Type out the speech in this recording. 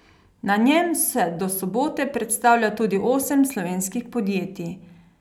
Na njem se do sobote predstavlja tudi osem slovenskih podjetij.